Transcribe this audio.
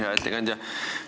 Hea ettekandja!